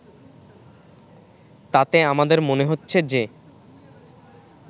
তাতে আমাদের মনে হচ্ছে যে